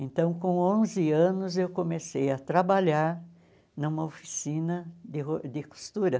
Então, com onze anos, eu comecei a trabalhar numa oficina de ro de costura.